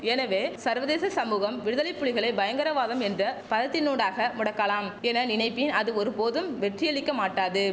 எனவே சர்வதேச சமுகம் விடுதலைப்புலிகளை பயங்கரவாதம் என்ற பதத்தினூடாக முடக்கலாம் என நினைப்பின் அது ஒரு போதும் வெற்றியளிக்க மாட்டாது